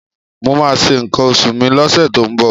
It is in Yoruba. Mo máa ṣe nǹkan oṣù mi lọ́sẹ̀ tó ń bọ̀.